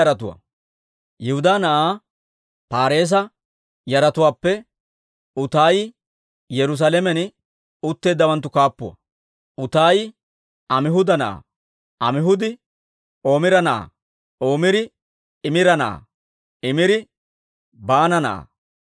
Yihudaa na'aa Paareesa yaratuwaappe Utaayi Yerusaalamen utteeddawanttu kaappuwaa. Utaayi Amihuuda na'aa; Amihuudi Omira na'aa; Omiri Imira na'aa; Imiri Baana na'aa.